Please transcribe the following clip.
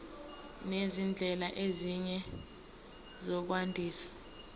nezindlela ezinye zokwandisa